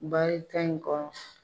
Bari ta in kɔnɔ.